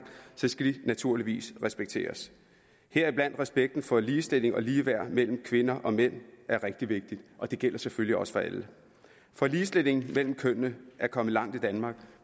naturligvis respekteres heriblandt er respekten for ligestilling og ligeværd mellem kvinder og mænd rigtig vigtig og det gælder selvfølgelig også for alle for ligestilling mellem kønnene er kommet langt i danmark